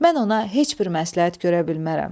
Mən ona heç bir məsləhət görə bilmərəm.